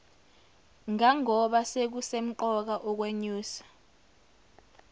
ngangoba sekusemqoka ukwenyusa